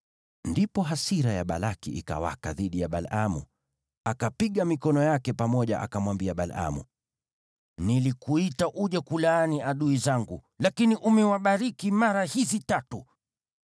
Ndipo hasira ya Balaki ikawaka dhidi ya Balaamu. Akapiga mikono yake pamoja, akamwambia Balaamu, “Nilikuita uje kuwalaani adui zangu, lakini umewabariki mara hizi tatu.